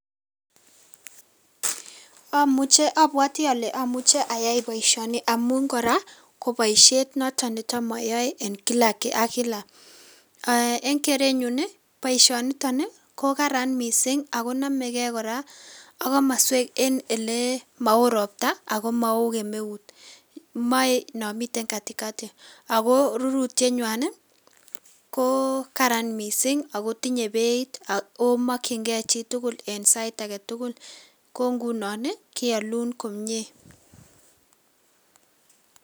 Amuche abwoti ale amuche ayai boisioni amun kora ko boisiet noton ne tam ayae en kila ak kila, eng kerenyun ii boisioniton ii ko karan mising ako namekei kora ak komoswek en ele mao ropta ako mao kemeut, mae no miten katikati. Ako rurutienwa ii ko karan mising ako tinye beit ak ko mokchingei chi tugul eng side ake tugul ko ngunon ii kealun komie.